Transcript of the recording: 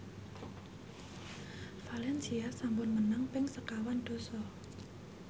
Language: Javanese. valencia sampun menang ping sekawan dasa